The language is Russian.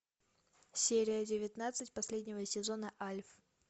серия девятнадцать последнего сезона альф